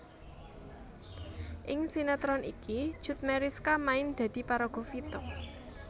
Ing sinetron iki Cut Meyriska main dadi paraga Vita